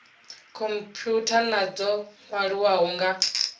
khomphutha na dzo nwaliwaho nga